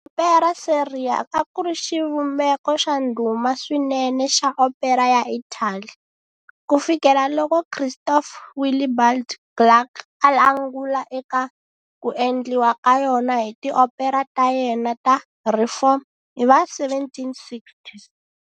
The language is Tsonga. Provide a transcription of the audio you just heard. Opera seria akuri xivumbeko xa ndhuma swinene xa opera ya Italy, kufikela loko Christoph Willibald Gluck a angula eka ku endliwa ka yona hi ti opera ta yena ta reform hiva 1760s.